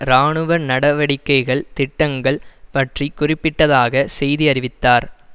இராணுவ நவடிக்கைக்கான திட்டங்கள் பற்றி குறிப்பிட்டதாக செய்தி அறிவித்தார்